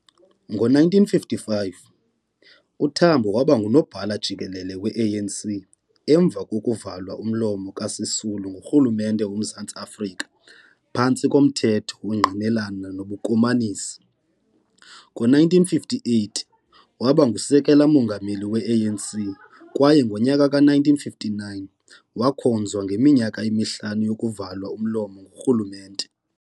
Ngo-1955, uTambo waba ngu-Nobhala-Jikelele we-ANC emva kokuvalwa umlomo kukaSisulu ngurhulumente woMzantsi Afrika phantsi komThetho wokuNgqinelana nobuKomanisi. Ngo-1958, waba ngu-Sekela Mongameli we-ANC kwaye ngonyaka ka-1959 wakhonzwa ngeminyaka emihlanu yokuvalwa umlomo ngurhulumente.